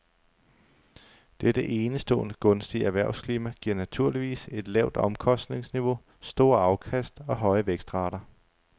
Dette enestående gunstige erhvervsklima giver naturligvis et lavt omkostningsniveau, store afkast og høje vækstrater.